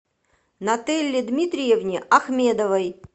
нателле дмитриевне ахмедовой